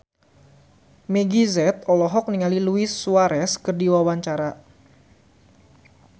Meggie Z olohok ningali Luis Suarez keur diwawancara